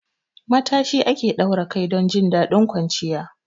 Matashi ake daura kai a kai don jin daɗin kwanciya.